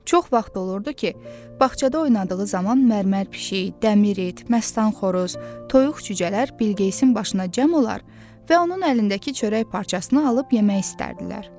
Çox vaxt olurdu ki, bağçada oynadığı zaman mərmər pişik, dəmir it, məstan xoruz, toyuq cücələr Bilqeyisin başına cəm olar və onun əlindəki çörək parçasını alıb yemək istərdilər.